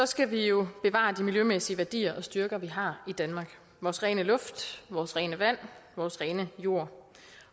skal vi jo bevare de miljømæssige værdier og styrker vi har i danmark vores rene luft vores rene vand vores rene jord